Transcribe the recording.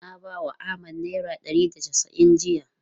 Na bawa Ahmad naira ɗari da casa'in jiya.